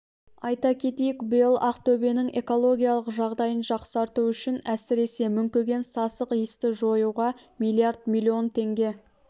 айта кетейік биыл ақтөбенің экологиялық жағдайын жақсарту үшін әсіресе мүңкіген сасық иісті жоюға миллиард миллион теңге